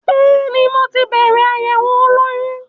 Bẹ́ẹ̀ni, mo ti bẹ̀rẹ̀ àyẹ̀wò olóyún.